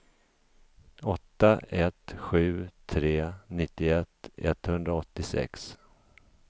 åtta ett sju tre nittioett etthundraåttiosex